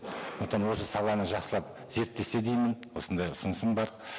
сондықтан осы саланы жақсылап зерттесе деймін осындай ұсынысым бар